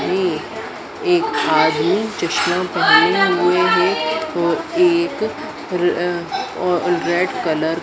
ये एक एक आदमी चश्मा पहने हुए है तो एक अह और रेड कलर --